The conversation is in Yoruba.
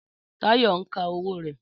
Táyọ̀ ń ka owó rẹ̀